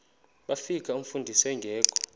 bafika umfundisi engekho